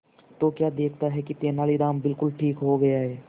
तो क्या देखता है कि तेनालीराम बिल्कुल ठीक हो गया है